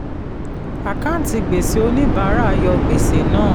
àkáǹtí gbèsè oníbàárà yọ gbèsè náà.